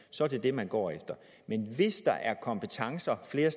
så er det det man går efter men hvis der er kompetencer flere